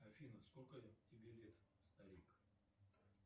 афина сколько тебе лет старик